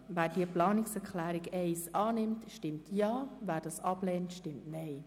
Wer diese Planungserklärung annimmt, stimmt Ja, wer diese ablehnt, stimmt Nein.